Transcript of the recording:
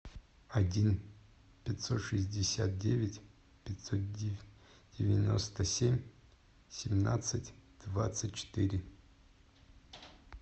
один пятьсот шестьдесят девять пятьсот девяносто семь семнадцать двадцать четыре